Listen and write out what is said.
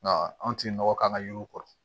Nka anw tɛ nɔgɔ k'an ka yiriw kɔrɔ